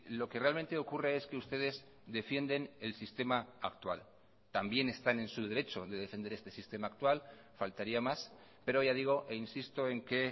lo que realmente ocurre es que ustedes defienden el sistema actual también están en su derecho de defender este sistema actual faltaría más pero ya digo e insisto en que